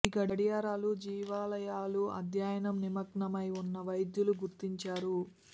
ఈ గడియారాలు జీవ లయలు అధ్యయనం నిమగ్నమై ఉన్న వైద్యులు గుర్తించారు